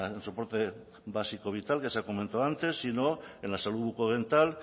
en soporte básico vital que se comentó antes sino en la salud bucodental